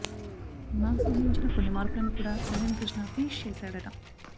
నాగ్ సూచించిన కొన్ని మార్పులని కూడా కళ్యాణ్ కృష్ణ ఫినిష్ చేశాడట